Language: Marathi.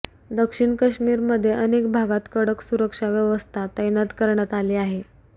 दक्षिण कश्मीरमध्ये अनेक भागात कडक सुरक्षाव्यवस्था तैनात करण्यात आली आहे